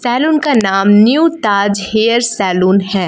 Salon का नाम New Taj Hair Salon है।